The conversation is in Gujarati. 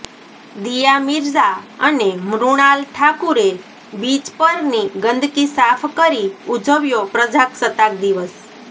દીયા મિર્ઝા અને મૃણાલ ઠાકુરે બીચ પરની ગંદકી સાફ કરી ઉજવ્યો પ્રજાસત્તાક દિવસ